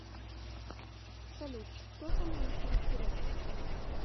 салют кто самый лучший русский рэпер